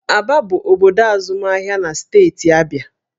Aba bụ obodo azụmahịa na steeti Abịa